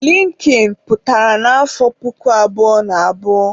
Linkin pụtara na afọ puku abụọ na abụọ